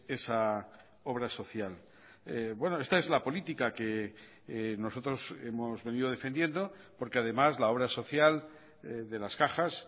esa obra social esta es la política que nosotros hemos venido defendiendo porque además la obra social de las cajas